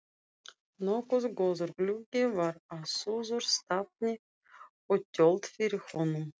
Nokkuð góður gluggi var á suðurstafni og tjöld fyrir honum.